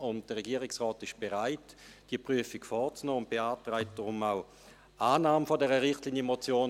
Der Regierungsrat ist bereit, diese Prüfung vorzunehmen, und beantragt deshalb auch Annahme dieser Richtlinienmotion.